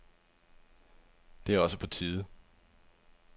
Det er også på tide.